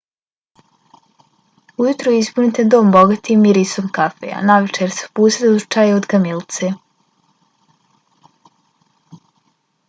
ujutro ispunite dom bogatim mirisom kafe a navečer se opustite uz čaj od kamilice